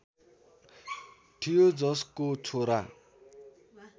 थियो जसको छोरा